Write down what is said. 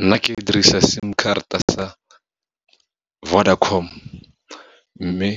Nna ke dirisa sim karata sa Vodacom, mme